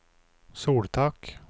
soltak